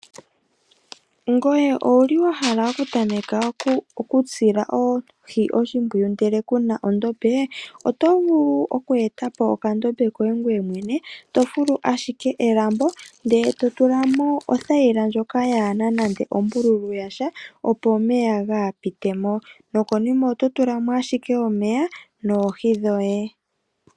Ngoye owuli wahala okutameka okusila oohi oshimpwuyu ndele kuna ondombe? Oto vulu oku eta po okandombe koye ngoye mwene, yofulu ashike elambo ndele totulamo othayila ndjoka yaana nande ombululu yasha opo omeya kaga pitemo, nokonima oto tulamo ashike omeya noohi dhoye.